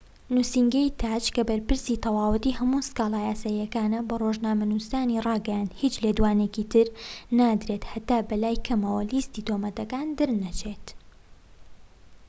نوسینگەی تاج کە بەرپرسی تەواوەتی هەموو سکاڵا یاساییەکانە بە ڕۆژنامەنوسانی راگەیاند هیچ لێدوانێکی تر نادرێت هەتا بەلای کەمەوە لیستی تۆمەتەکان دەرنەچێت